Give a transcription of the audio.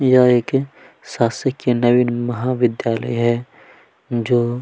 यह एक शासकीय नवीनमहाविद्यालय है जो --